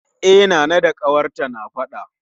E, Nana da ƙawarta na faɗa